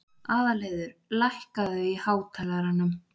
Aðalheiður, lækkaðu í hátalaranum.